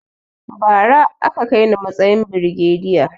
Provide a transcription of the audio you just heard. Bara a ka kaini matsayin birigeda